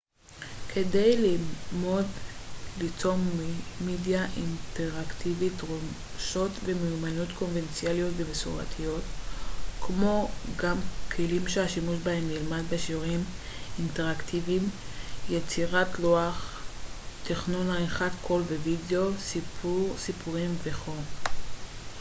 כדי ללמוד ליצור מדיה אינטראקטיבית דרושות ומיומנויות קונבנציונליות ומסורתיות כמו גם כלים שהשימוש בהם נלמד בשיעורים אינטראקטיביים יצירת לוח תכנון עריכת קול ווידאו סיפור סיפורים וכו'.